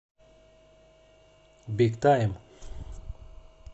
биг тайм